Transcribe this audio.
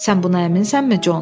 Sən buna əminsənmi, Con?